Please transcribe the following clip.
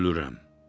Ölürəm.